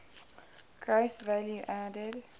gross value added